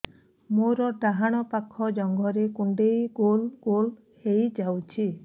ମୋର ଡାହାଣ ପାଖ ଜଙ୍ଘରେ କୁଣ୍ଡେଇ ଗୋଲ ଗୋଲ ହେଇଯାଉଛି